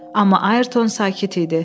Amma Ayrton sakit idi.